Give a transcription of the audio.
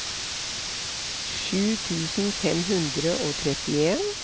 sju tusen fem hundre og trettien